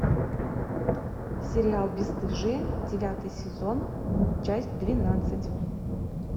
сериал бесстыжие девятый сезон часть двенадцать